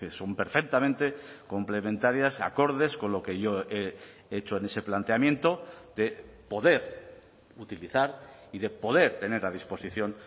son perfectamente complementarias acordes con lo que yo he hecho en ese planteamiento de poder utilizar y de poder tener a disposición